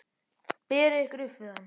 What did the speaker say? Berið ykkur upp við hann!